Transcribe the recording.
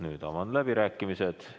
Nüüd avan läbirääkimised.